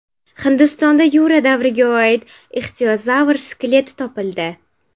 Hindistonda Yura davriga oid ixtiozavr skeleti topildi.